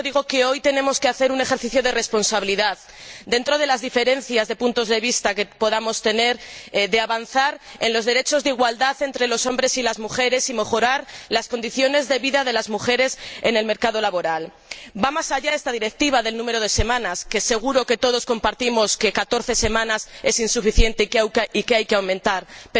Y por eso digo que hoy tenemos que hacer un ejercicio de responsabilidad, dentro de las diferencias de puntos de vista que podamos tener, para avanzar en los derechos de igualdad entre los hombres y las mujeres, y mejorar las condiciones de vida de las mujeres en el mercado laboral. Va más allá esta Directiva del número de semanas de permiso de maternidad, pues seguro que todos estamos de acuerdo en que catorce semanas es insuficiente y que hay que aumentar su duración.